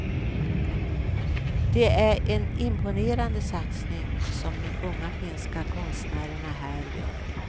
Det är en imponerande satsning som de unga finska konstnärerna här gör.